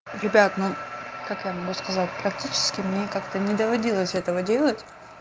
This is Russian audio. ребят ну как я могу сказать практически мне как-то не доводилось этого делать